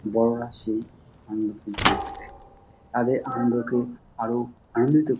বড়োরা সেই আনন্দ কিছু করতে তাদের আনন্দকে আরো আনন্দিত --|